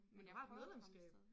Men du har et medlemskab